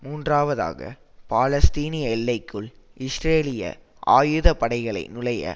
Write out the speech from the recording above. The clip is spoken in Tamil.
மூன்றாவதாக பாலஸ்தீனிய எல்லைக்குள் இஸ்ரேலிய ஆயுத படைகளை நுழைய